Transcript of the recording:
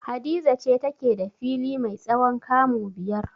Hadiza ce take da fili mai tsawon kamu biyar.